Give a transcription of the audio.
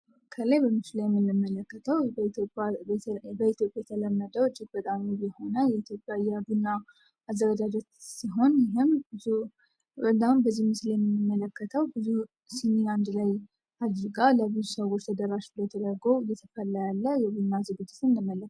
ከላይ በሚሱሌም እንመለከተው በኢትዮጵ የተለመደው እጅግ በጣም ውብ የሆነው የኢትዮጵያ የቡና አዘገጃጀት ሲሆን ይህም ብዙ በልዳም በዚህ ምስሌ ምንመለከተው ብዙ ሲኒያንድ ላይ አድርጋ ለብዙ ሰዎች ተደራሽ ብላ የተደገው እየተፈላ ያለ የብና ዝግጅት እንመለከታለን።